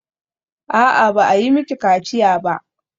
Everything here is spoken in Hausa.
A'a, ba a yi mini kaciya ba.